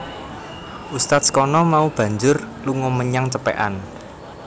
Ustadz kana mau banjur lunga menyang Cepekan